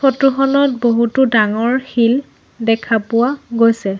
Photo খনত বহুতো ডাঙৰ শিল দেখা পোৱা গৈছে।